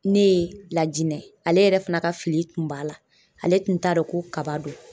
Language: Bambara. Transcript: Ne Lajinɛ ale yɛrɛ fana ka fili kun b'a la. Ale tun t'a dɔn ko kaba don.